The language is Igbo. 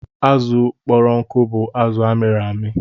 Azụ kpọrọ nkụ bụ azụ amịrị amị.